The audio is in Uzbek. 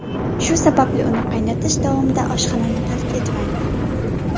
Shu sababli uni qaynatish davomida oshxonani tark etmang.